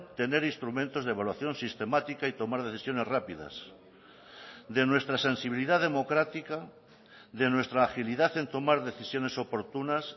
tener instrumentos de evaluación sistemática y tomar decisiones rápidas de nuestra sensibilidad democrática de nuestra agilidad en tomar decisiones oportunas